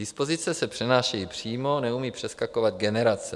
Dispozice se přenáší přímo, neumí přeskakovat generace.